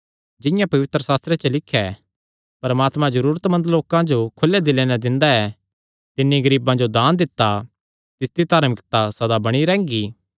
जिंआं पवित्रशास्त्रे च लिख्या ऐ परमात्मा जरूरतमंद लोकां जो खुले दिले नैं दिंदा ऐ तिन्नी गरीबां जो दान दित्ता तिसदी धार्मिकता सदा बणी रैंह्गी